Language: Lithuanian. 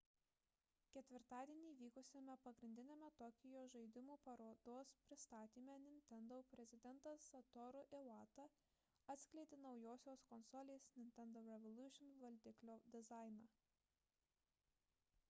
ketvirtadienį vykusiame pagrindiniame tokijo žaidimų parodos pristatyme nintendo prezidentas satoru iwata atskleidė naujosios konsolės nintendo revolution valdiklio dizainą